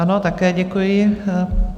Ano, také děkuji.